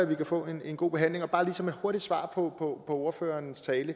vi kan få en god behandling og bare lige som et hurtigt svar på ordføreren sagde i